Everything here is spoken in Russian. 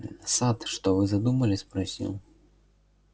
сатт что вы задумали спросил